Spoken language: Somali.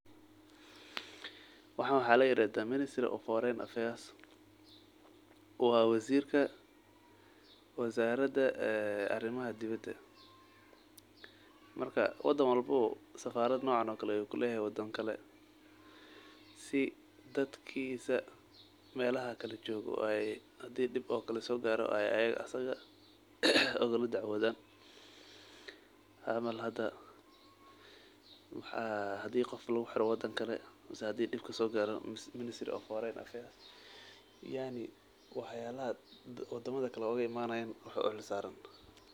Waxan waxa lairadha ministry of foreign affairs waa wazirka wazarada ee arimaha dibidaa marka wadan walbawa safarda nocaan okale ayuu layhay wadan kale si dadkisa meelaha kale joogo oo ay hadii okaleto dib sogaro asaga ay ukala dacwoodhan camal hada hadii qoof laguxiro wadan kale miis hadii dib sogaro mise minstry of foreign affairs yaani wadamadha kale waxa oge imanayan waxa uxilsaran.